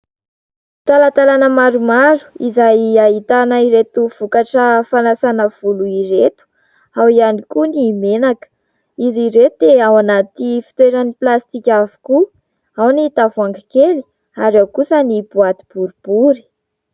Talantalana maromaro izay ahitana ireto vokatra fanasana volo ireto, ao ihany koa ny menaka izy ireo dia ao anaty fitoerany plastika avokoa, ao ny tavoahangy kely ary ao kosa ny boaty boribory.